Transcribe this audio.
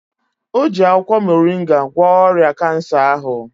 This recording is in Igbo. O ji akwụkwọ moringa gwọọ ọrịa Kansa ahụ.